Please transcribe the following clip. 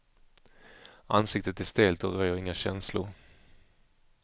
Ansiktet är stelt och röjer inga känslor.